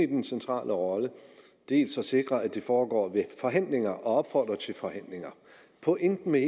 den centrale rolle dels at sikre at det foregår ved forhandlinger og opfordre til forhandlinger pointen med